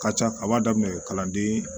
Ka ca a b'a daminɛ kalanden